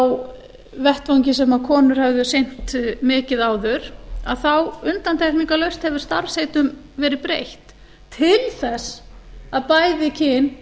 á vettvangi sem konur hafa sinnt mikið áður að þá undantekningarlaust hefur starfsheitum verið breytt til þess að bæði kyn